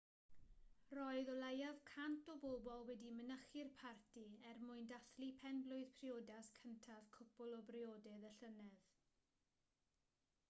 roedd o leiaf 100 o bobl wedi mynychu'r parti er mwyn dathlu pen-blwydd priodas cyntaf cwpl a briododd y llynedd